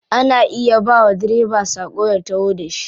Ana iya bawa direba sako ya taho da shi.